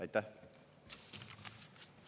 Aitäh!